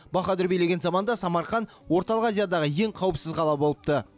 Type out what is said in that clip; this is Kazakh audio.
баһадүр билеген заманда самарқан орталық азиядағы ең қауіпсіз қала болыпты